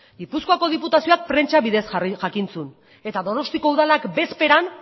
gipuzkoako diputazioak prentsa bidez jakin zuen eta donostiako udalak bezperan